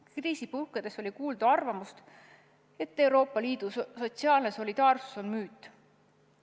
Kriisi puhkedes oli kuulda arvamust, et Euroopa Liidu sotsiaalne solidaarsus on müüt.